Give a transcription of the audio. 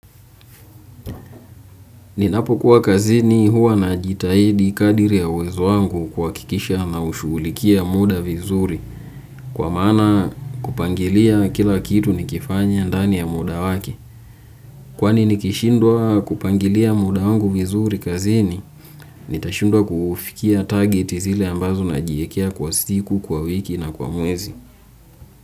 Ninapokuwa kazini huwa najitahidi kadiri ya uwezo wangu kuhakikisha naushughulikia muda vizuri kwa maana kupangilia kila kitu nikifanya ndani ya muda wake. Kwani nikishindwa kupangilia muda wangu vizuri kazini, nitashindwa kufikia target zile ambazo najiekea kwa siku, kwa wiki na kwa mwezi.